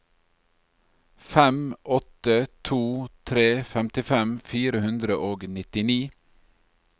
fem åtte to tre femtifem fire hundre og nittini